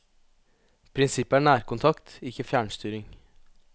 Prinsippet er nærkontakt, ikke fjernstyring.